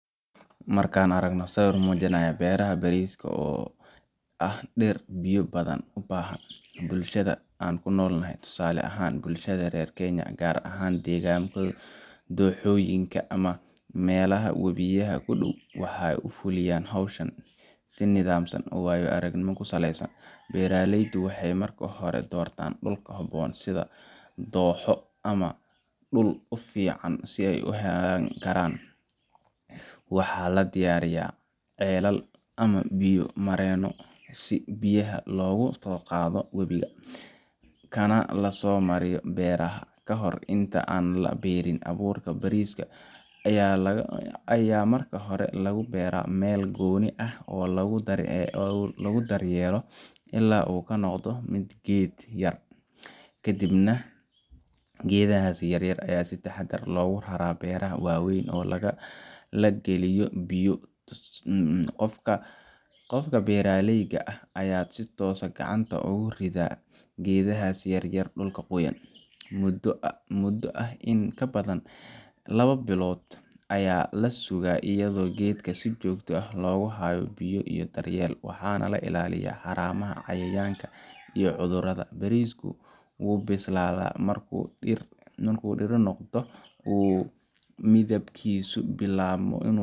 Marka aan aragno sawir muujinaya beeraha bariiska, oo ah dhir biyo badan u baahan, bulshada aan ku noolahay tusaale ahaan bulshada reer Kenya, gaar ahaan deegaannada dooxooyinka ama meelaha webiyada ku dhow waxay u fuliyaan hawshan si nidaamsan oo waayo-aragnimo ku saleysan. Beeralayda waxay marka hore doortaan dhul ku habboon, sida dooxo ama dhul u fiican u hayn kara biyo. Waxaa la diyaariyaa ceelal ama biyo mareenno si biyaha looga soo qaado webiga, kana la soo mariyo beeraha. Ka hor inta aan la beerin, abuurka bariiska ayaa marka hore lagu beeraa meel gooni ah oo lagu daryeelo ilaa uu ka noqdo geed yar . Kadibna geedahaas yaryar ayaa si taxaddar leh loogu raraa beeraha weyn oo la geliyo biyo . Qofka beeraleyga ah ayaa si toos ah gacanta ugu rida geedahaas yar-yar dhulka qoyan. Muddo ah in ka badan laba bilood ayaa la sugaa, iyadoo geedka si joogto ah loogu hayo biyo iyo daryeel. Waxaa la ilaalinayaa haramaha, cayayaanka, iyo cudurrada. Bariisku wuu bislaadaa markuu dhirir noqdo oo uu midabkiisu bilaabo.